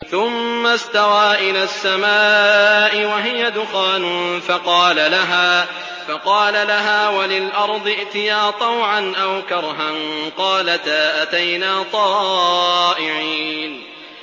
ثُمَّ اسْتَوَىٰ إِلَى السَّمَاءِ وَهِيَ دُخَانٌ فَقَالَ لَهَا وَلِلْأَرْضِ ائْتِيَا طَوْعًا أَوْ كَرْهًا قَالَتَا أَتَيْنَا طَائِعِينَ